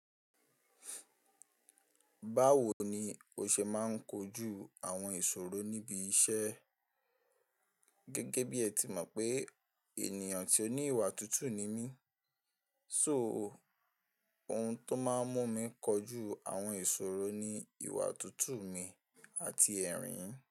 Báwo ni o ṣe máa ń kojú àwọn ìṣòro níbi iṣẹ́? Gẹ́gẹ́ bí ẹ ti mọ̀ pé ènìyàn tí ó ní ìwà tutù ni mí, so ohun tó máa ń mú mi kọjú àwọn ìṣòro ni ìwà tutù mi àti ẹ̀rín.